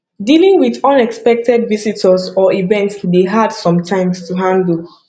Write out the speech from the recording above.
dealing with unexpected visitors or events dey hard sometimes to handle